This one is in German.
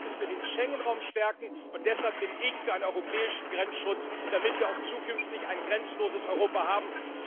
Und deshalb müssen wir den Schengen Raum stärken, und deshalb bin ich für einen europäischen Grenzschutz, damit wir auch zukünftig ein grenzenloses Europa haben.